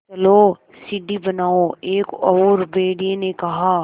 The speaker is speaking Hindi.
चलो सीढ़ी बनाओ एक और भेड़िए ने कहा